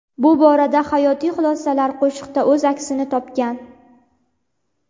Bu boradagi hayotiy xulosalar qo‘shiqda o‘z aksini topgan.